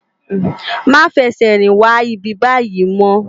Má fè sè rin wá ibibàyi mò